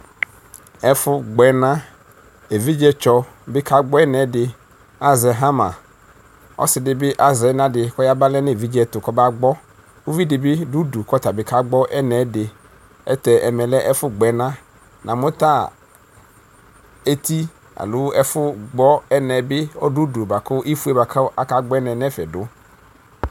ɛƒʋwʋ gbɛna ʒvidzetsɔbi ka gbɔɛnɛdi azɛ hama ɔsidibi azɛnɛdi kɔbagbɔ nɛevidzeɛtʋ kɔ bagbɔ ʋvidibi ʋdu kɔtabi kɔbagbɔ ɛnaɛdi ɛtɛ ɛmɛlɛ ɛƒʋgbɛna namuta ʒti aloo ɛƒʋgbɔ ɛnɛbi ɔdɔʋdu bakʋ ifoebakʋ akagbɔ ɛnɛ nɛfɛ du